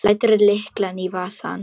Lætur lyklana í vasann.